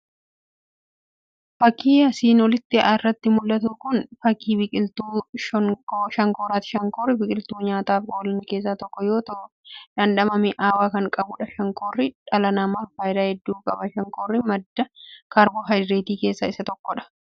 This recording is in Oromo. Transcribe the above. Fakii asiin olii irratti mu'latu kun fakii biqiltuu shankooraati. shankoorri biqiloota nyaataaf oolan keessa tokko yoo ta'u dhandhama mi'aawaa kan qabudha. shankoorri dhala namaaf faayidaa hedduu qaba. shankoorrii madda kaarboohayidireetii keessaa isa tokkodha.